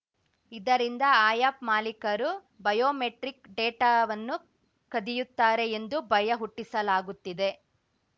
ಇದರಿಂದ ಆ್ಯಪ್‌ ಮಾಲೀಕರು ಬಯೋಮೆಟ್ರಿಕ್‌ ಡೇಟಾವನ್ನು ಕದಿಯುತ್ತಾರೆ ಎಂದು ಭಯ ಹುಟ್ಟಿಸಲಾಗುತ್ತಿದೆ